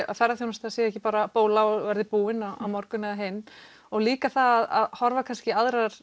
að ferðaþjónustan sé ekki bara bóla og verði búin á morgun eða hinn og líka það að horfa kannski í